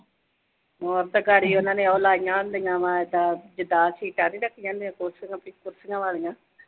ਹਮ ਤੇ ਉਨ੍ਹਾਂ ਨੇ ਉਹ ਲਾਈਆਂ ਹੁੰਦੀਆਂ, ਐਦਾਂ ਜਿਦਾਂ ਸੀਟਾਂ ਨੂੰ ਰੱਖੀਆਂ ਹੁੰਦੀਆਂ ਵਿੱਚ ਕੁਰਸੀਆਂ ਵਾਲੀਆਂ।